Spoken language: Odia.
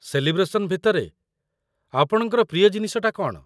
ସେଲିବ୍ରେସନ୍ ଭିତରେ ଆପଣଙ୍କର ପ୍ରିୟ ଜିନିଷଟା କ'ଣ?